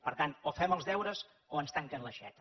per tant o fem els deures o ens tanquen l’aixeta